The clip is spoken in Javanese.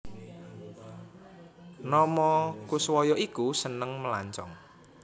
Nomo Koeswoyo iku seneng melancong